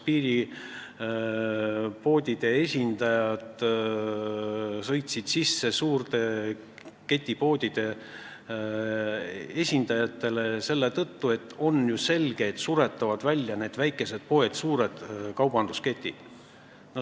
Piiripoodide esindajad sõitsid suurte ketipoodide esindajatele sisse selle tõttu, et suured kaubandusketid suretavad väikesed poed välja.